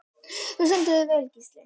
Þú stendur þig vel, Gísli!